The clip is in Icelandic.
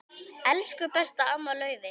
Elsku besta amma Laufey.